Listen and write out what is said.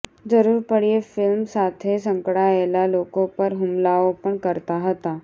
જરૂર પડ્યે ફિલ્મ સાથે સંકળાયેલા લોકો પર હુમલાઓ પણ કરતા હતા